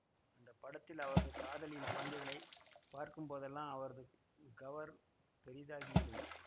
அந்த படத்தில் அவரது காதலியின் குழந்தைகளை பார்க்கும்போதெல்லாம் அவரது கவர் பெரிதாகிவிடும்